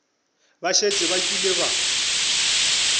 ba šetše ba kile ba